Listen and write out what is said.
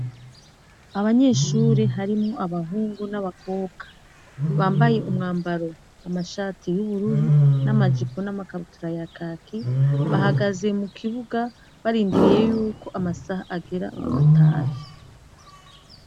Abanyeshure harimwo abahungu n' abakobwa bambaye umwambaro amashati y' ubururu, n' amajipo n' amakabutura ya kaki, bahagaze mu kibuga, barindiriye yuko amasaha agera ngo batahe.